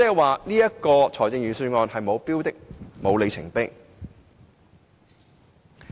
換言之，預算案是沒有標的或里程碑的。